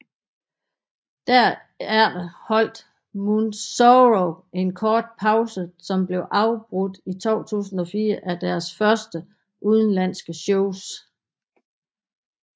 Derefter holdt Moonsorrow en kort pause som blev afbrudt i 2004 af deres første udenlandske shows